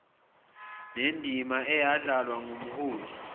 nendima eyadlalwa ngumholi